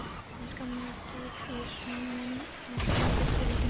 Ég skammaðist út í son minn af engu tilefni.